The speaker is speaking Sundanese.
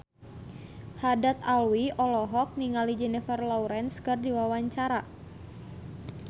Haddad Alwi olohok ningali Jennifer Lawrence keur diwawancara